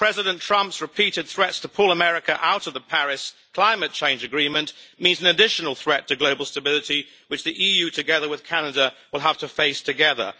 President Trump's repeated threats to pull America out of the Paris climate change agreement means an additional threat to global stability which the EU, together with Canada, will have to face together.